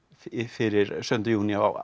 fyrir sautjánda júní á